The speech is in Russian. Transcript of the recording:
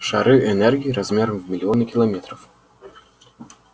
шары энергии размером в миллионы километров